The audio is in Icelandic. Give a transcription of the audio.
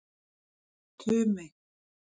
Tumi